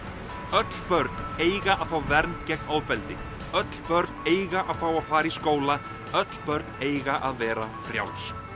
öll börn eiga að fá vernd gegn ofbeldi öll börn eiga að fá að fara í skóla öll börn eiga að vera frjáls